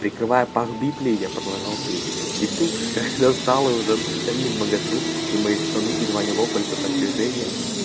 прикрывая пах библией я продолжал петь и тут когда стало уже совсем невмоготу и мои штаны едва не лопались от напряжения